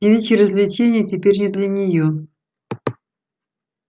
девичьи развлечения теперь не для неё